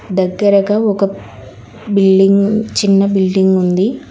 దగ్గరగా ఒక బిల్డింగ్ చిన్న బిల్డింగ్ ఉంది.